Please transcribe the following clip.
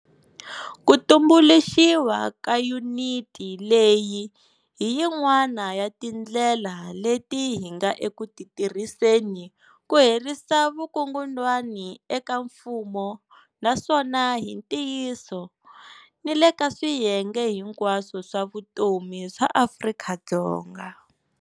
Ku tumbuluxiwa ka yuniti leyi hi yin'wana ya tindlela leti hi nga eku ti tirhiseni ku herisa vukungundwani eka mfumo naswona hi ntiyiso, ni le ka swiyenge hinkwaswo swa vutomi swa Afrika-Dzonga.